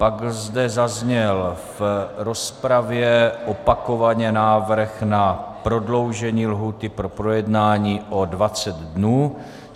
Pak zde zazněl v rozpravě opakovaně návrh na prodloužení lhůty pro projednání o 20 dnů.